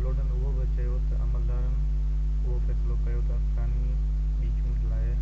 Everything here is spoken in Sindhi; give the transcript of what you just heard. لوڊن اهو بہ چيو تہ عملدارن اهو فيصلو ڪيو تہ افغاني ٻي چونڊ لاءِ